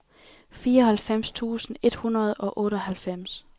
fireoghalvfems tusind et hundrede og otteoghalvfems